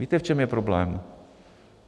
Víte, v čem je problém?